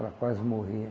Ela quase morria.